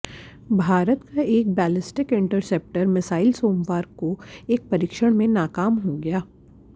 भारत का एक ballistic interceptor missile सोमवार को एक परीक्षण में नाकाम हो गया